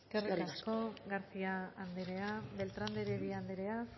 eskerrik asko eskerrik asko garcía anderea beltrán de heredia anderea